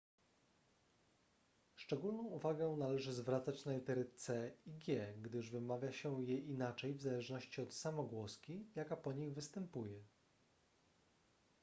szczególną uwagę należy zwracać na litery c i g gdyż wymawia się je inaczej w zależności od samogłoski jaka po nich występuje